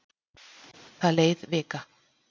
Það leið vika.